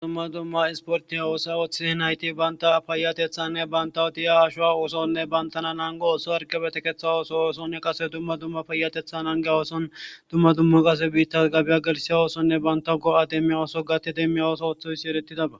dumma dumma isportiya oosa ooththidi hinhayti banta payatethanne banta wotiya ashowa ooosonne bantana nango ooso argebetekeththa ooso oosonne qase dumma dumma payatethan angey wooson dumma dumma qase biitta gabiya gelisiya oosonne banta go7a demmiya ooso gatti demmiya ooso ooththoysi erettidaba